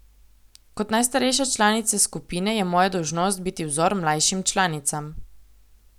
Kot najstarejša članica skupine je moja dolžnost biti vzor mlajšim članicam.